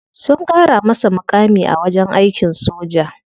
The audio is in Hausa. Sun kara masa mukami a wajen aikin soja.